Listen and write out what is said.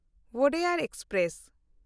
Wodeyar express